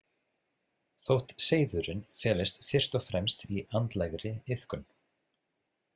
Þótt seiðurinn felist fyrst og fremst í andlegri iðkun.